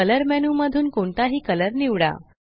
colour menu मधून कोणताही colour निवडा